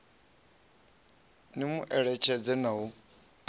ni mu eletshedze na u